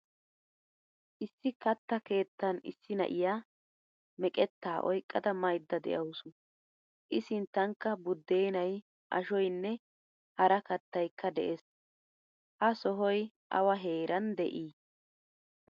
Issi katta keettan issi na'iyaa meqetta oyqqada mayda deawusu. I sinttankka budenay, ashshoynne hara kattaykka de'ees. Ha sohoy awa heeran de'i?